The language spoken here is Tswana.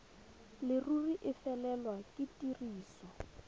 leruri e felelwe ke tiriso